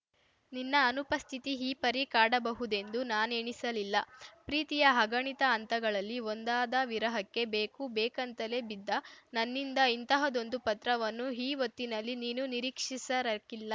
ನಿನ್ನ ಅನುಪಸ್ಥಿತಿ ಈಪರಿ ಕಾಡಬಹುದೆಂದು ನಾನೆಣಿಸಲಿಲ್ಲ ಪ್ರೀತಿಯ ಅಗಣಿತ ಹಂತಗಳಲ್ಲಿ ಒಂದಾದ ವಿರಹಕ್ಕೆ ಬೇಕು ಬೇಕಂತಲೇ ಬಿದ್ದ ನನ್ನಿಂದ ಇಂತಹದ್ದೊಂದು ಪತ್ರವನ್ನು ಈ ಹೊತ್ತಿನಲ್ಲಿ ನೀನೂ ನಿರೀಕ್ಷಿಸಿರಕ್ಕಿಲ್ಲ